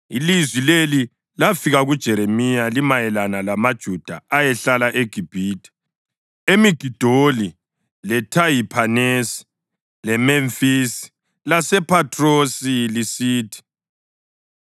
Ilizwi leli lafika kuJeremiya limayelana lamaJuda ayehlala eGibhithe, eMigidoli, leThahiphanesi leMemfisi, lasePhathrosi lisithi,